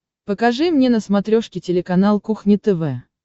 покажи мне на смотрешке телеканал кухня тв